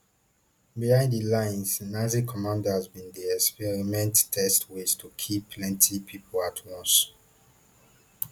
behind di lines nazi commanders bin dey experiment test ways to kill plenti pipo at once